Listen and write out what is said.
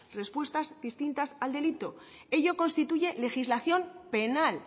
respuestas distintas al delito ello constituye legislación penal